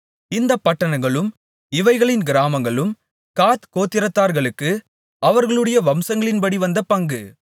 இந்தப் பட்டணங்களும் இவைகளின் கிராமங்களும் காத் கோத்திரத்தார்களுக்கு அவர்களுடைய வம்சங்களின்படி வந்த பங்கு